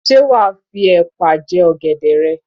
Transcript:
Ṣé wa á fi epa jẹ ọ̀gẹ̀dẹ̀ rẹ?